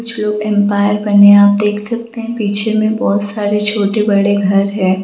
कुछ लोग अंपायर बने है आप देख सकते है पीछे मे बहुत सारे छोटे बड़े घर हैं।